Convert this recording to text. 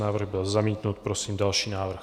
Návrh byl zamítnut, prosím další návrh.